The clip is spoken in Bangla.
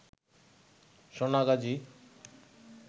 সোনাগাজী